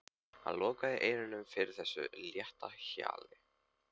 Hann lokaði eyrunum fyrir þessu létta hjali.